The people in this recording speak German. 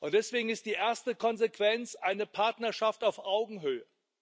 Deswegen ist die erste Konsequenz eine Partnerschaft auf Augenhöhe.